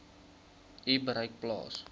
u bereik plaas